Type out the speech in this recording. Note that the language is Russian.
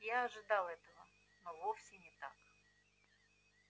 я ожидал этого но все таки